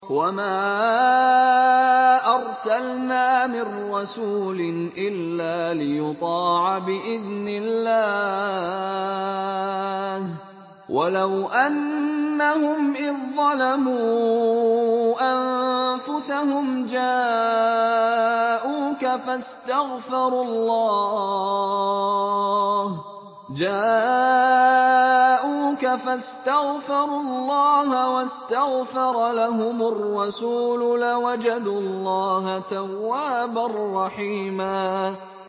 وَمَا أَرْسَلْنَا مِن رَّسُولٍ إِلَّا لِيُطَاعَ بِإِذْنِ اللَّهِ ۚ وَلَوْ أَنَّهُمْ إِذ ظَّلَمُوا أَنفُسَهُمْ جَاءُوكَ فَاسْتَغْفَرُوا اللَّهَ وَاسْتَغْفَرَ لَهُمُ الرَّسُولُ لَوَجَدُوا اللَّهَ تَوَّابًا رَّحِيمًا